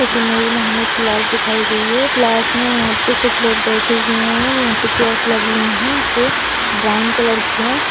इस इमेज में हमें क्लास दिखाई गई है क्लास में यहाँ पे कुछ लोग बैठे हुए हैं। यहाँ पे चेयर्स लगी हुईं हैं जो ब्राउन कलर की हैं।